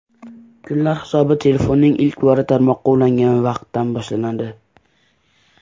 Kunlar hisobi telefonning ilk bora tarmoqqa ulangan vaqtdan boshlanadi.